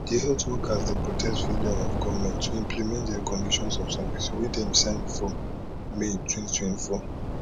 di health workers dey protest failure of goment to implement dia conditions of service wey dem sign for may 2024